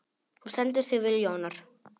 Þú stendur þig vel, Jónar!